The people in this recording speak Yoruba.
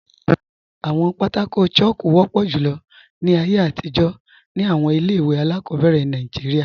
Awọn pátákò chalku wọpọ julọ ni ayé atijọ̀ ni awọn ilẹ̀-iwe aláàkọbẹ̀rẹ̀ Nàìjíríà.